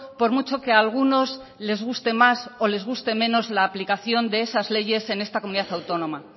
por mucho que algunos les guste más o les guste menos la aplicación de esas leyes en esta comunidad autónoma